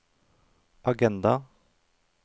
agenda